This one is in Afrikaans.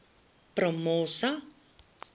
promosa